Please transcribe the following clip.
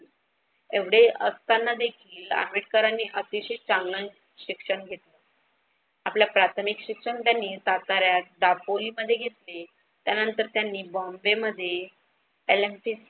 एवढे असताना देखील आंबेडकरांनी अतिशय चांगले शिक्षण घेतले. आपल प्राथमिक शिक्षण त्यांनी साताऱ्यात दापोलीमध्ये घेतले. त्यांनंतर त्यांनी बोम्बाय्मध्ये LMC